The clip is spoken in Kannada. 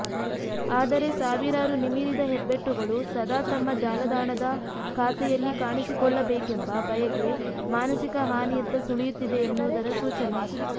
ಆದರೆ ಸಾವಿರಾರು ನಿಮಿರಿದ ಹೆಬ್ಬೆಟ್ಟುಗಳು ಸದಾ ತಮ್ಮ ಜಾಲದಾಣದ ಖಾತೆಯಲ್ಲಿ ಕಾಣಿಸಿಕೊಳ್ಳಬೇಕೆಂಬ ಬಯಕೆ ಮಾನಸಿಕ ಹಾನಿಯತ್ತ ಸುಳಿಯುತ್ತಿದೆ ಎನ್ನುವುದರ ಸೂಚನೆ